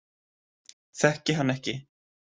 Þekki hann ekki.